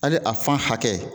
Ale a fan hakɛ